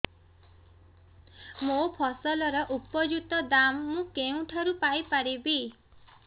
ମୋ ଫସଲର ଉପଯୁକ୍ତ ଦାମ୍ ମୁଁ କେଉଁଠାରୁ ପାଇ ପାରିବି